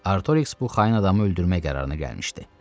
Artorix bu xain adamı öldürmək qərarına gəlmişdi.